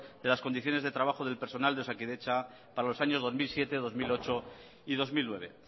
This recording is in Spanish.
de las condiciones de trabajo del personal de osakidetza para los años dos mil siete dos mil ocho y dos mil nueve